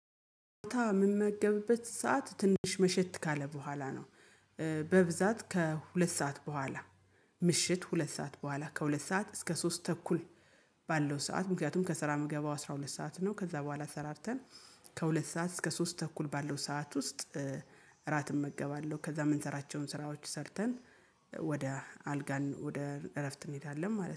ምመገብበት ሰዓት ትንሽ መሸት ካለ በኋላ ነው። በብዛት ከሁለት ሰዓት በኋላ ምሽት ሁለት ሰዓት በኋላ ከሁለት ሰዓት እስከ ሶስት ተኩል። ባለው ሰዓት ምክንያቱም ከስራ ምገባው አስራ ሁለት ሰዓት ነው ከዛ በኋላ ተሰራርተን ከሁለት ሰዓት እስከ ሶስት ተኩል ባለው ሰዓት ውስጥ እራት እመገባለሁ። ከዛ የምንሰራቸውን ስራዎች ሰርተን ወደ አልጋን ወደ እረፍት እንሄዳለን ማለት ነው